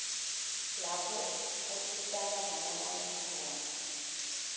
lapho usitana nalabanye khona